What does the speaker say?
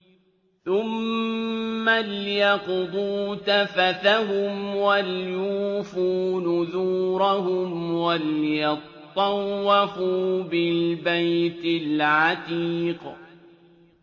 ثُمَّ لْيَقْضُوا تَفَثَهُمْ وَلْيُوفُوا نُذُورَهُمْ وَلْيَطَّوَّفُوا بِالْبَيْتِ الْعَتِيقِ